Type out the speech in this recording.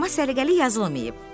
Amma səliqəli yazılmayıb.